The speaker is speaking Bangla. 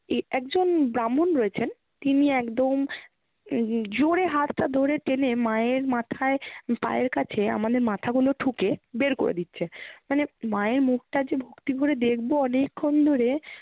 এ~ একজন ব্রাহ্মণ রয়েছেন তিনি একদম উম উম জোরে হাতটা ধরে টেনে মায়ের মাথায় পায়ের কাছে আমাদের মাথাগুলো ঠুকে বের করে দিচ্ছে, মানে মায়ের মুখটা যে ভক্তিভরে দেখবো অনেকক্ষণ ধরে